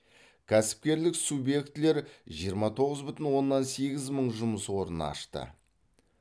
кәсіпкерлік субъектілер жиырма тоғыз бүтін оннан сегіз мың жұмыс орнын ашты